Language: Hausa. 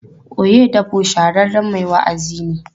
Oyedepo shahararren mai wa'azi ne.